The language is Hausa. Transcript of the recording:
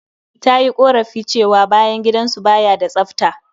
Ta yi ƙorafi cewa bayan gidan su ba ya da tsafta.